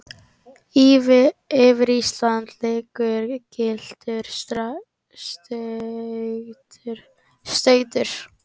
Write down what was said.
yfir Íslandi liggur gylltur stautur.